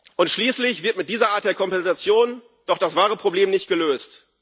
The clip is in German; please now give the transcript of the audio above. Und schließlich wird mit dieser Art der Kompensation doch das wahre Problem nicht gelöst.